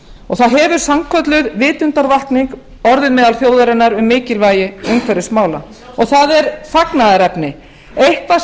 og það hefur sannkölluð vitundarvakning orðið meðal þjóðarinnar um mikilvægi umhverfismála og það er fagnaðarefni eitthvað